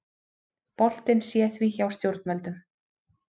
Boltinn sé því hjá stjórnvöldum